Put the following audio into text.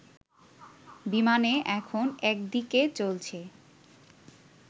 বিমানে এখন একদিকে চলছে